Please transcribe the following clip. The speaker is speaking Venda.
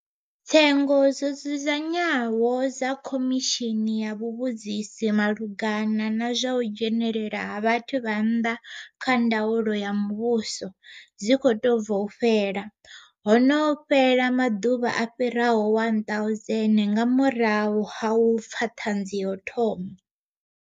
Tsengo dzo dzudzanywaho dza Khomishini ya Vhuvhudzisi maluga na na zwa u dzhenelela ha vhathu vha nnḓa kha ndaulo ya muvhuso dzi khou tou bva u fhela, ho no fhela maḓuvha a fhiraho 1,000 nga murahu ha u pfa ṱhanzi ya u thoma.